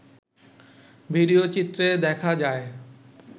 ভিডিওচিত্রে দেখা যায়